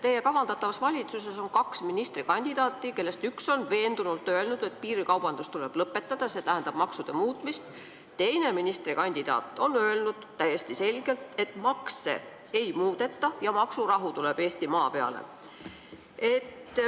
Teie kavandatavas valitsuses on kaks ministrikandidaati, kellest üks on veendunult öelnud, et piirikaubandus tuleb lõpetada, mis tähendab maksude muutmist, teine ministrikandidaat on öelnud täiesti selgelt, et makse ei muudeta ja maksurahu tuleb Eestimaa peale.